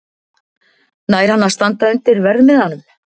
Nær hann að standa undir verðmiðanum?